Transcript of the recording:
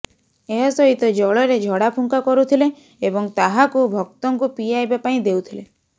ଏହା ସହିତ ଜଳରେ ଝଡ଼ାଫୁଙ୍କା କରୁଥିଲେ ଏବଂ ତାହାକୁ ଭକ୍ତଙ୍କୁ ପିଆଇବା ପାଇଁ ଦେଉଥିଲେ